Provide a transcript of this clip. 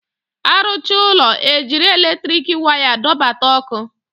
A rụcha ụlọ, e jiri eletriki waya dọbata ọkụ